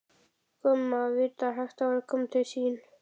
Gumma vita að hægt væri að koma til mín.